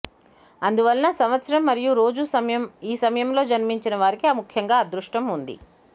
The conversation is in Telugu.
అందువలన సంవత్సరం మరియు రోజు సమయం ఈ సమయంలో జన్మించిన వారికి ముఖ్యంగా అదృష్టం ఉంది